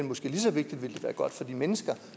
måske lige så vigtigt godt for de mennesker